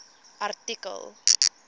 artikel